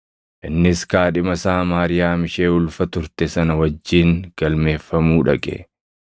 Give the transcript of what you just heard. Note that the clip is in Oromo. Innis kaadhima isaa Maariyaam ishee ulfa turte sana wajjin galmeeffamuu dhaqe.